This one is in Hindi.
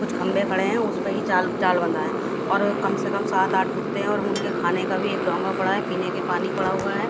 कुछ खंबे खड़े है उसपे ही चाल जाल बांधा है और कम से कम सात आठ कुत्ते है और उनके खाने का भी एक डोंगा पड़ा है पीने के पानी पड़ा हुआ है।